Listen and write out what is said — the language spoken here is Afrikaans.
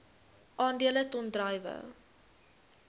aandele ton druiwe